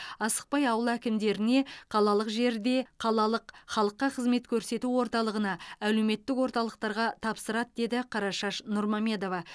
асықпай ауыл әкімдеріне қалалық жерде қалалық халыққа қызмет көрсету орталығына әлеуметтік орталықтарға тапсырады деді қарашаш нұрмамедова